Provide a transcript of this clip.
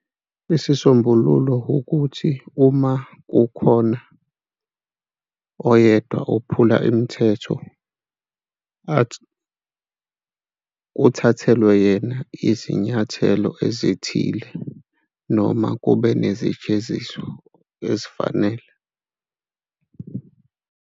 Isisombululo ukuthi uma kukhona oyedwa ophula imithetho kuthathelwe yena izinyathelo ezithile noma kube nezijeziso ezifanele.